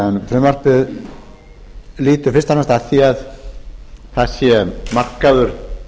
frumvarpið lýtur fyrst og fremst að því að það sé markaður